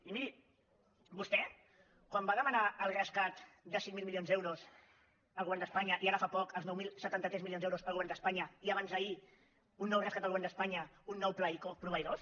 i miri vostè quan va demanar el rescat de cinc mil milions d’euros al govern d’espanya i ara fa poc els nou mil setanta tres milions d’euros al govern d’espanya i abans d’ahir un nou rescat al govern d’espanya un nou pla ico proveïdors